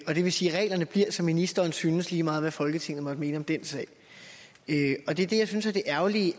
det vil sige at reglerne bliver som ministeren synes lige meget hvad folketinget måtte mene om den sag og det er det jeg synes er det ærgerlige